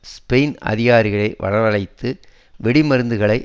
Spain அதிகாரிகள் வரவழைத்து வெடிமருந்துகளை